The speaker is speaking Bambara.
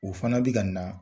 O fana bi ka na.